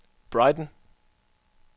Brighton